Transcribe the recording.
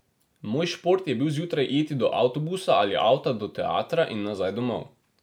Moj šport je bil zjutraj iti do avtobusa ali avta do teatra in nazaj domov.